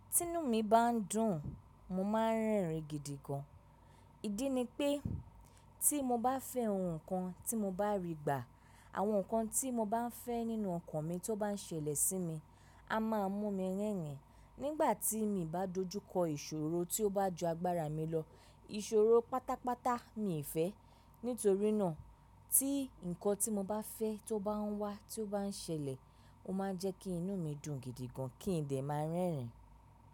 Tí inú mi bá ń dùn, mo máa ń rẹ́rìn gidi gan. Idí ni pé tí mo bá fẹ́ ohun kan tí mo bá rí gbà, àwọn nǹkan tí mo bá ń fẹ́ nínú ọkàn mi tó bá ń ṣẹlẹ̀ sí mi, a máa mú mi rẹ́rìn. Nígbà tí mi ò bá dojú kọ ìṣòro tí ó bá ju agbára mi lọ, ìṣòro pátápátá mi ì fẹ́. Nítorí náà tí nǹkan tí mo bá fẹ́ tó bá ń wá tí ó bá ń ṣẹlẹ̀, ó máa ń jẹ́ kí inú mi dùn gidi gan, kí n dẹ̀ máa rẹ́rìn.